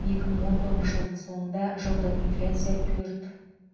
екі мың он тоғызыншы жылдың соңында жылдық инфляция төрт